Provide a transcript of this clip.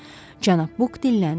Cənab Buk dilləndi.